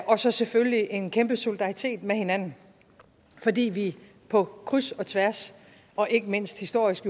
og så selvfølgelig en kæmpe solidaritet med hinanden fordi vi på kryds og tværs og ikke mindst historisk